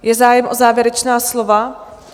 Je zájem o závěrečná slova?